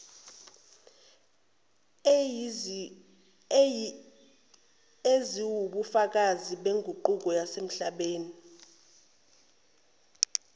eziwubufakazi beguquko yasemhlabeni